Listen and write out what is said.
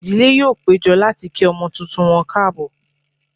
Ìdílé yóò péjọ láti kí ọmọ tuntun wọn káàbọ̀